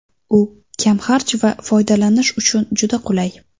U kamxarj va foydalanish uchun juda qulay.